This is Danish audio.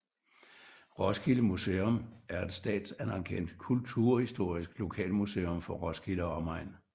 Roskilde Museum er et statsanerkendt kulturhistorisk lokalmuseum for Roskilde og omegn